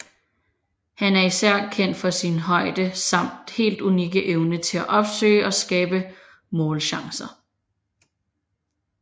Han er især kendt for sin højde samt helt unikke evne til at opsøge og skabe målchancer